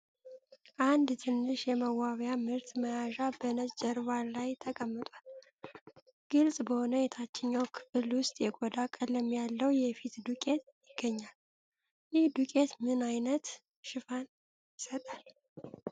አንድ ትንሽ የመዋቢያ ምርት መያዣ በነጭ ጀርባ ላይ ተቀምጧል። ግልጽ በሆነ የታችኛው ክፍል ውስጥ የቆዳ ቀለም ያለው የፊት ዱቄት ይገኛል። ይህ ዱቄት ምን ዓይነት ሽፋን ይሰጣል?